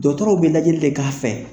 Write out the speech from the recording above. Dɔgɔtɔrɔw be lajɛli de k'a fɛ.